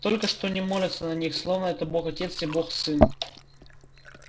только что не молятся на них словно это бог-отец и бог-сын